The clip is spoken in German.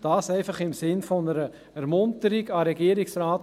Dies einfach im Sinne einer Ermunterung zuhanden des Regierungsrates: